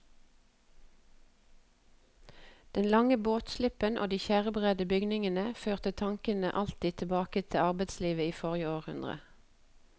Den lange båtslippen og de tjærebredde bygningene førte tanken alltid tilbake til arbeidslivet i forrige århundre.